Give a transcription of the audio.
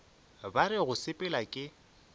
ba re go sepela ke